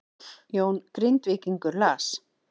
Jón Grindvíkingur las